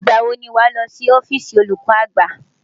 Ìgbà wo ni wàá lọ sí ọ́fíìsì olùkọ́ àgbà?